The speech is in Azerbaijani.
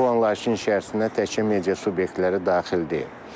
bu anlayışın içərisində təkcə media subyektləri daxil deyil.